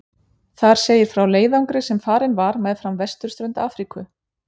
Þar segir frá leiðangri sem farinn var meðfram vesturströnd Afríku.